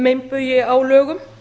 meinbugi á lögum